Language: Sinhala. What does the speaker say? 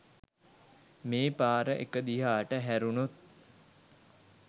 මේ පාර එක දිහාට හැරුණොත්